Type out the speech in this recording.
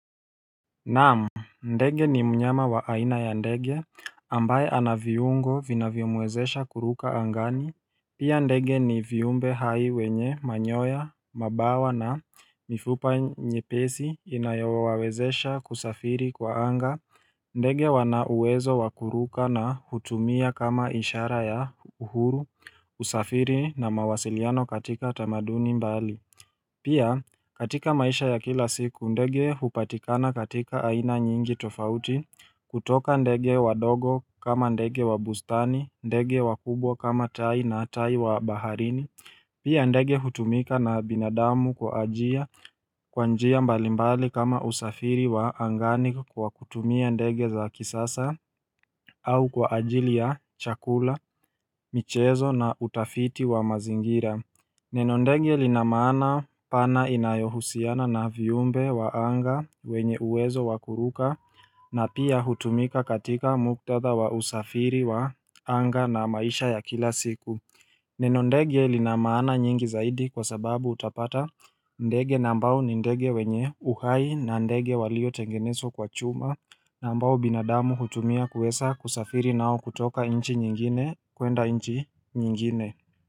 Naam, ndege ni mnyama wa aina ya ndege ambaye anaviungo vinavyo mwezesha kuruka angani Pia ndege ni viumbe hai wenye manyoya, mabawa na mifupa nyepesi inayowawezesha kusafiri kwa anga ndege wana uwezo wa kuruka na kutumia kama ishara ya uhuru usafiri na mawasiliano katika tamaduni mbali Pia katika maisha ya kila siku ndege hupatikana katika aina nyingi tofauti kutoka ndege wadogo kama ndege wa bustani ndege wa kubwa kama tai na tai wa baharini Pia ndege hutumika na binadamu kwa njia mbalimbali kama usafiri wa angani kwa kutumia ndege za kisasa au kwa ajili ya chakula, michezo na utafiti wa mazingira Neno ndege linamaana pana inayohusiana na viumbe wa anga wenye uwezo wa kuruka na pia hutumika katika muktadha wa usafiri wa anga na maisha ya kila siku Neno ndege linamaana nyingi zaidi kwa sababu utapata ndege naambao ni ndege wenye uhai na ndege waliotengenezwa kwa chuma Naambao binadamu hutumia kuweza kusafiri nao kutoka nchi nyingine kuenda inchi nyingine.